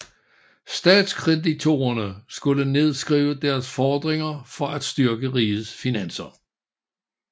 Statskreditorerne skulle nedskrive deres fordringer for at styrke rigets finanser